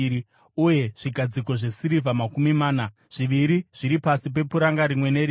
uye zvigadziko zvesirivha makumi mana. Zviviri zviri pasi pepuranga rimwe nerimwe.